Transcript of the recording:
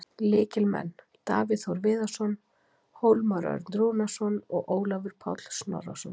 Lykilmenn: Davíð Þór Viðarsson, Hólmar Örn Rúnarsson og Ólafur Páll Snorrason.